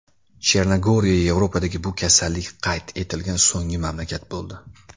Chernogoriya Yevropadagi bu kasallik qayd etilgan so‘nggi mamlakat bo‘ldi.